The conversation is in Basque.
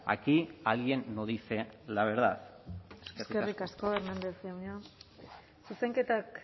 aquí alguien no dice la verdad eskerrik asko eskerrik asko hernández jauna zuzenketak